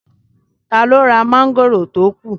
Taló ra mọ́ngòrò tó kù?